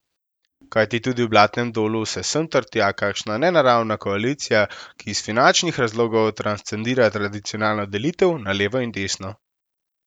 Kajti tudi v Blatnem dolu se sem ter tja kakšna nenaravna koalicija, ki iz finančnih razlogov transcendira tradicionalno delitev na levo in desno.